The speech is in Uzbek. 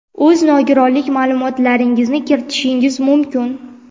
o‘z nogironlik ma’lumotlaringizni kiritishingiz mumkin.